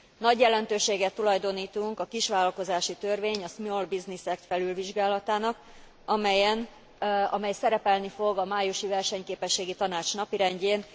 Nagy jelentőséget tulajdonítunk a kisvállalkozási törvény a Small Business Act felülvizsgálatának, amely szerepelni fog a májusi Versenyképességi Tanács napirendjén.